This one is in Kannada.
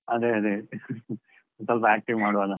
ಅದೇ ಅದೇ, ಸ್ವಲ್ಪ active ಮಾಡ್ವಾ ಅಲ್ಲಾ .